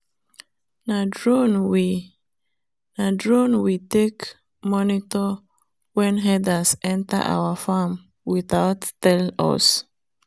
na drone we na drone we take monitor when herders enter our farm without tell us.